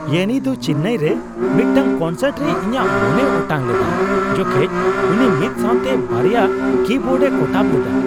ᱤᱭᱟᱱᱤ ᱫᱚ ᱪᱮᱱᱱᱟᱭ ᱨᱮ ᱢᱤᱫᱴᱟᱝ ᱠᱚᱱᱥᱟᱨᱴ ᱨᱮ ᱤᱧᱟᱹᱜ ᱢᱚᱱᱮᱭ ᱚᱴᱟᱝ ᱞᱮᱫᱟ ᱡᱚᱠᱷᱮᱡ ᱩᱱᱤ ᱢᱤᱫ ᱥᱟᱣᱛᱮ ᱒ᱭᱟ ᱠᱤ ᱵᱳᱨᱰᱼᱮ ᱠᱚᱴᱟᱵ ᱞᱮᱫᱟ ᱾